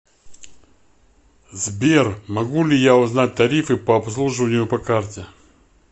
сбер могу ли я узнать тарифы по обслуживанию по карте